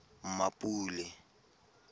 mmapule